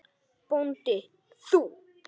BÓNDI: Þú?